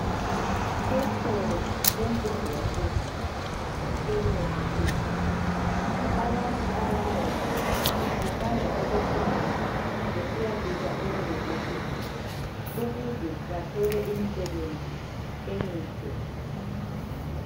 Esikolo semfundo yaphezulu euniversity, abantu abanengi bathanda ukufunda besiyafika euniversity ukuze bathole imisebenzi emihle.